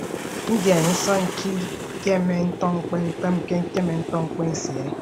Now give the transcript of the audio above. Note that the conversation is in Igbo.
Ndien nso ke ikeme ndikpep ikeme ndikpep nto uwụtn̄kpọ esie?